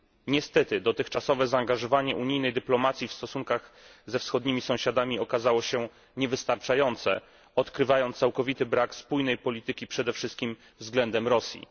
Niestety dotychczasowe zaangażowanie unijnej dyplomacji w stosunkach ze wschodnimi sąsiadami okazało się niewystarczające, odkrywając całkowity brak spójnej polityki, przede wszystkim względem Rosji.